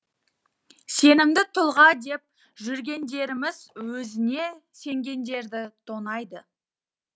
сенімді тұлға деп жүргендеріміз өзіне сенгендерді тонайды